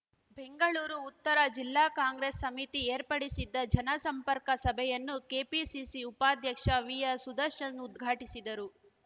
ಬೆಂಗಳೂರು ಉತ್ತರ ಜಿಲ್ಲಾ ಕಾಂಗ್ರೆಸ್ ಸಮಿತಿ ಏರ್ಪಡಿಸಿದ್ದ ಜನಸಂಪರ್ಕ ಸಭೆಯನ್ನು ಕೆಪಿಸಿಸಿ ಉಪಾಧ್ಯಕ್ಷ ವಿಆರ್ ಸುದರ್ಶನ್ ಉದ್ಘಾಟಿಸಿದರು